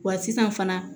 Wa sisan fana